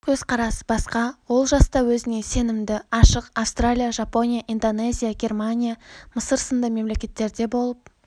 көзқарасы басқа ол жаста өзіне сенімді ашық австралия жапония индонезия германия мысыр сынды мемлекеттерде болып